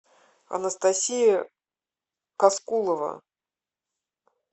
анастасия каскулова